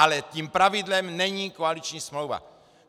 Ale tím pravidlem není koaliční smlouva.